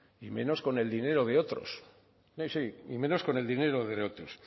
y menos con el dinero de otros sí sí y menos con el dinero de otros